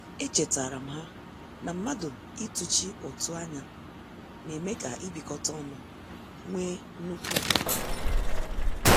Echetaram ha na mmadụ ị tuchi ụtụ anya na-eme ka ibikota ọnu wee nnukwu ugwu.